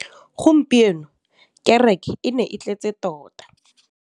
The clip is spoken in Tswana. Gompieno kêrêkê e ne e tletse tota.